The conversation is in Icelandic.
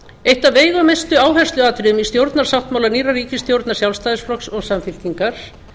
eitt af veigamestu áhersluatriðum í stjórnarsáttmála nýrrar ríkisstjórnar sjálfstæðisflokks og samfylkingar